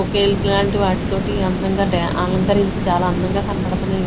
ఒకే ఇట్లాంటి వాటి తోటి అందంగా డా-- అలంకరించి చాలా అందంగా కనబడుతున్నాయి.